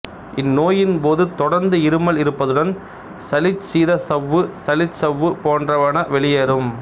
இந்நோயின்போது தொடர்ந்து இருமல் இருப்பதுடன் சளி சீதச்சவ்வுசளிச்சவ்வு போன்றன வெளியேறும்